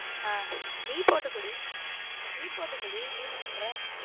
ஹம் நீ போட்டு குடி நீ போட்டு குடி நீ என்ன பண்ற.